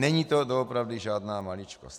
Není to doopravdy žádná maličkost.